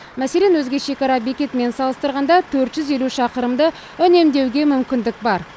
мәселен өзге шекара бекетімен салыстырғанда төрт жүз елу шақырымды үнемдеуге мүмкіндік бар